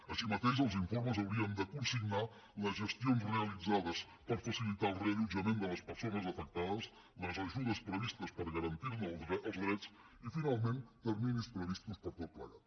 així mateix els informes haurien de consignar les gestions realitzades per facilitar el reallotjament de les persones afectades les ajudes previstes per garantir ne els drets i finalment terminis previstos per a tot plegat